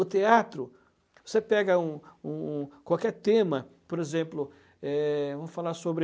O teatro, você pega um um um qualquer tema, por exemplo, é vamos falar sobre...